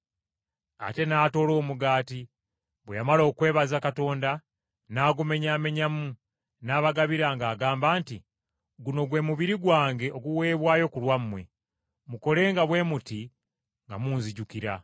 Ate n’atoola omugaati, bwe yamala okwebaza Katonda, n’agumenyaamenyamu, n’abagabira ng’agamba nti, “Guno gwe mubiri gwange oguweebwayo ku lwammwe. Mukolenga bwe muti nga munzijukira.”